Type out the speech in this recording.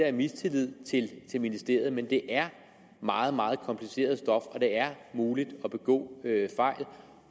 er mistillid til ministeriet men det er meget meget kompliceret stof og det er muligt at begå fejl